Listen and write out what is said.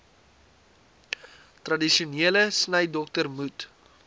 tradisionele snydokter moet